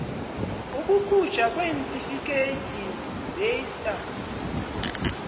ukukhujthwa kweentifikhethi zeista